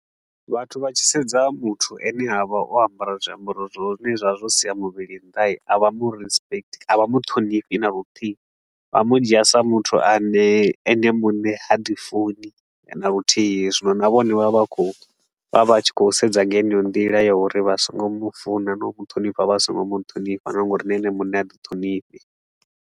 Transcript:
Vhathu vha tshi sedza muthu a ne a vha o ambara zwiambaro zwine zwa vha zwo sia muvhili nnda hii. A vha mu respect, a vha mu ṱhonifhi na luthihi, vha mu dzhia sa muthu a ne ene mune ha di funi na luthihi. Zwino na vhone vha vha khou vha vha tshi khou sedza nga heneyo nḓila ya uri vha so ngo mu funa na u mu ṱhonifha vha so ngo mu ṱhonifha nga uri na ene muṋe ha ḓi thonifhi.